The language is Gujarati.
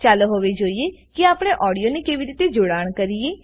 ચાલો હવે જોઈએ કે આપણે ઓડીઓને કેવી રીતે જોડાણ કરીએ